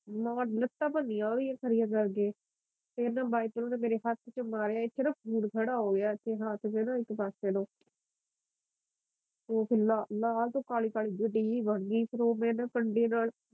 ਨਾ ਲੱਤਾ ਭੰਨੀਆ ਉਦੀਆਂ ਖੜੀਆ ਕਰ ਕੇ ਫਿਰ ਨਾ ਵਾਈਪਰ ਨੂੰ ਨਾ ਮੇਰੇ ਹੱਥ ਚ ਮਾਰਿਆ ਇੱਥੇ ਨਾ ਖੂਨ ਖੜ੍ਹਾ ਹੋਗਿਆ ਇੱਥੇ ਹੱਥ ਚ ਨਾ ਇਕ ਪਾਸੇ ਨੂੰ ਉਹ ਲਾਲ ਤੇ ਕਾਲੀ ਕਾਲੀ ਜੀ ਬਣ ਗਈ ਹੀ ਫਿਰ ਉਹ ਮੈ ਨਾ ਕੰਡੇ ਨਾਲ